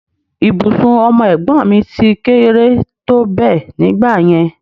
Ibùsùn ọmọ ẹ̀gbọ́n mi ti kéré tó bẹ́ẹ̀ nígbà yẹn